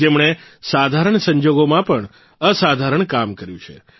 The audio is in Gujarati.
જેમણે સાધારણ સંજોગોમાં પણ અસાધારણ કામ કર્યું છે